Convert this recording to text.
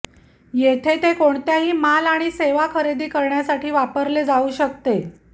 येथे ते कोणत्याही माल आणि सेवा खरेदी करण्यासाठी वापरले जाऊ शकते